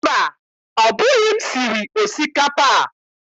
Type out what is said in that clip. Mba, ọ bụghị m siri osikapa a?